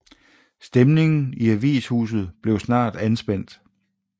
Stemningen i avishuset blev snart anspændt